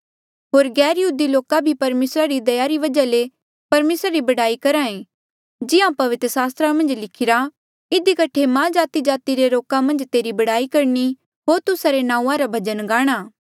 होर गैरयहूदी रे लोका भी परमेसर री दया री वजहा ले परमेसरा री बड़ाई करहे जिहां पवित्र सास्त्रा मन्झ लिखिरा इधी कठे मां जातिजाति रे लोका मन्झ तेरी बढ़ाई करणी होर तुस्सा रे नांऊँआं रा भजन गाणा